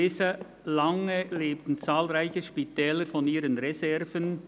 Ich lese: «Lange lebten zahlreiche Spitäler von ihren Reserven.